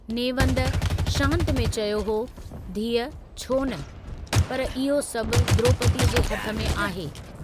नेवंद शांत में चयो हो धीअ छोन, पर इहो सभु द्रोपदीअ जे हथ में आहे।